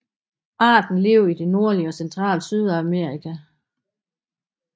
Arten lever i det nordlige og centrale Sydamerika